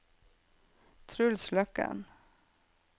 Truls Løkken